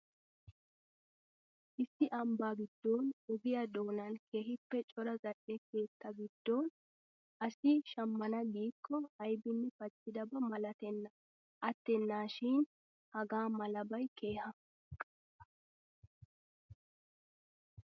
Issi ambbaa giddon ogiya doonan keehippe cora zal"e keettaa giddon asi shammana giikko aybinne paccidaba malatenna. Attennaashin hagaa malabay keha.